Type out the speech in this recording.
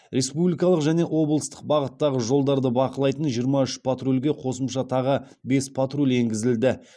республикалық және облыстық бағыттағы жолдарды бақылайтын жиырма үш патрульге қосымша тағы бес патруль енгізілді